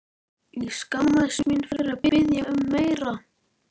Ég skammaðist mín fyrir að biðja um meira.